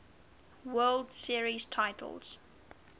world series titles